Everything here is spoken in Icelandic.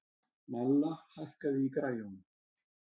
Malla, hækkaðu í græjunum.